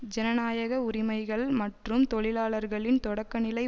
ஜனநாயக உரிமைகள் மற்றும் தொழிலாளர்களின் தொடக்கநிலை